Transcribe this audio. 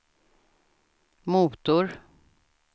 motor